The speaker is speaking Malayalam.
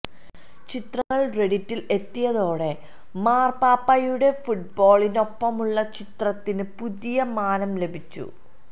ചിത്രങ്ങള് റെഡിറ്റില് എത്തിയതോടെ മാര്പാപ്പയുടെ ഫുട്ബോളിനൊപ്പമുള്ള ചിത്രത്തിന് പുതിയ മാനം ലഭിച്ചു